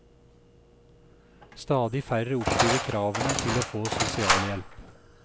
Stadig færre oppfyller kravene til å få sosialhjelp.